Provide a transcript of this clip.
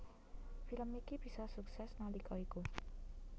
Film iki bisa sukses nalika iku